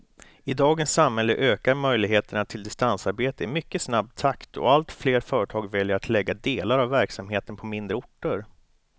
I dagens samhälle ökar möjligheterna till distansarbete i mycket snabb takt och allt fler företag väljer att lägga delar av verksamheten på mindre orter.